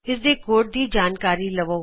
ਇਸ ਦੇ ਕੋਡ ਦੀ ਜਾਣਕਾਰੀ ਲਵੋ